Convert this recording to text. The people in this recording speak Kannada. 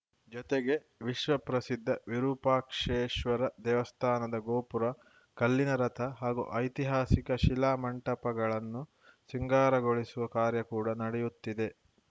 ಜತೆಗೆ ವಿಶ್ವ ಪ್ರಸಿದ್ಧ ವಿರೂಪಾಕ್ಷೇಶ್ವರ ದೇವಸ್ಥಾನದ ಗೋಪುರ ಕಲ್ಲಿನ ರಥ ಹಾಗೂ ಐತಿಹಾಸಿಕ ಶಿಲಾ ಮಂಟಪಗಳನ್ನು ಸಿಂಗಾರಗೊಳಿಸುವ ಕಾರ್ಯ ಕೂಡ ನಡೆಯುತ್ತಿದೆ